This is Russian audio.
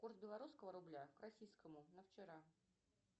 курс белорусского рубля к российскому на вчера